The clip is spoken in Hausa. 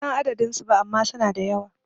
Ban san adadin su ba ama suna da yawa